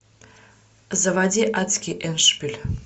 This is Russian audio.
заводи адский эндшпиль